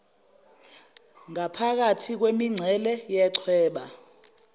ngaphakathi kwemincele yechweba